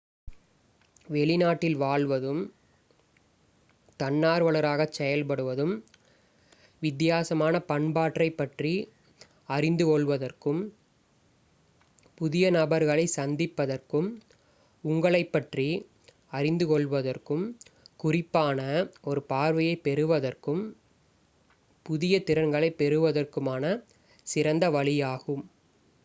வெளிநாட்டில் வாழ்வதும் தன்னார்வலராகச் செயல்படுவதும் வித்தியாசமான பண்பாட்டைப் பற்றி அறிந்து கொள்வதற்கும் புதிய நபர்களைச் சந்திப்பதற்கும் உங்களைப்பற்றி அறிந்து கொள்வதற்கும் குறிப்பான ஒரு பார்வையைப் பெறுவதற்கும் புதிய திறன்களைப் பெறுவதற்குமான சிறந்த வழியாகும்